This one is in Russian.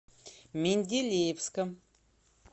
менделеевском